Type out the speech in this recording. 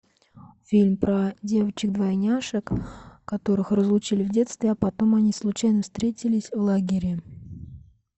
фильм про девочек двойняшек которых разлучили в детстве а потом они случайно встретились в лагере